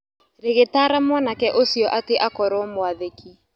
Rĩgĩtaara mwanake ũcio atĩ akorwo mwathĩki.